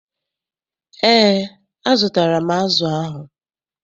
EÉ, azụtara m azụ ahụ.